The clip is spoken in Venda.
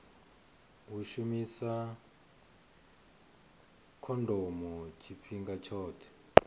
u shumisa khondomo tshifhinga tshoṱhe